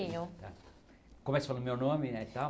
tá Começo falando o meu nome eh e tal?